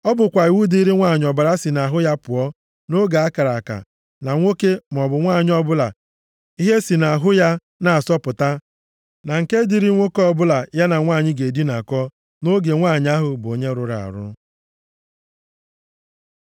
Ọ bụkwa iwu dịrị nwanyị ọbara si nʼahụ ya pụọ nʼoge a kara aka, na nwoke maọbụ nwanyị ọbụla ihe si nʼahụ ya na-asọpụta, na nke dịrị nwoke ọbụla ya na nwanyị ga-edinakọ nʼoge nwanyị ahụ bụ onye rụrụ arụ.